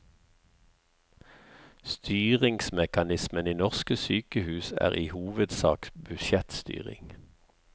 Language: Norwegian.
Styringsmekanismen i norske sykehus er i hovedsak budsjettstyring.